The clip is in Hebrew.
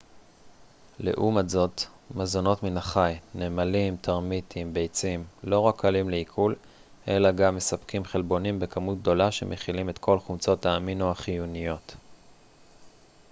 לעומת זאת מזונות מן החי נמלים טרמיטים ביצים לא רק קלים לעיכול אלא גם מספקים חלבונים בכמות גדולה שמכילים את כל חומצות האמינו החיוניות